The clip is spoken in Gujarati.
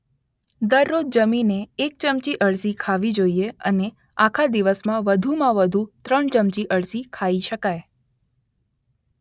દરરોજ જમીને એક ચમચી અળસી ખાવી જોઈએ અને આખા દિવસમાં વધુમાં વધુ ત્રણ ચમચી અળસી ખાઈ શકાય.